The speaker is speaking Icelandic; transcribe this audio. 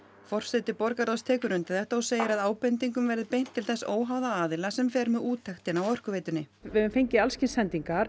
forseti borgarráðs tekur undir þetta og segir að ábendingum verði beint til þess óháða aðila sem fer með úttektina á Orkuveitunni við höfum fengið alls kyns sendingar